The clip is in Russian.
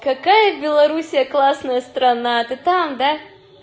какая белоруссия классная страна ты там да